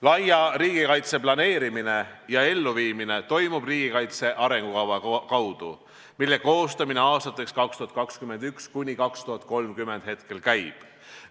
Laia riigikaitse planeerimine ja elluviimine toimub riigikaitse arengukava alusel, mille koostamine aastateks 2021–2030 praegu käib.